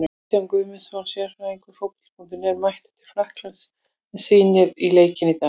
Kristján Guðmundsson, sérfræðingur Fótbolta.net, er mættur til Frakklands og hann rýndi í leikinn í dag.